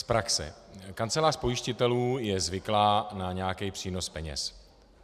Z praxe: Kancelář pojistitelů je zvyklá na nějaký přínos peněz.